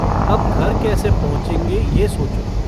अब घर कैसे पहुंचेगे यह सोचो।